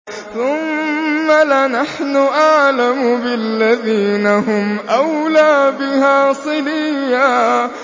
ثُمَّ لَنَحْنُ أَعْلَمُ بِالَّذِينَ هُمْ أَوْلَىٰ بِهَا صِلِيًّا